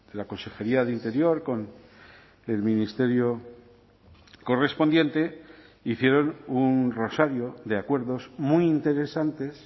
la consejería de interior con el ministerio correspondiente hicieron un rosario de acuerdos muy interesantes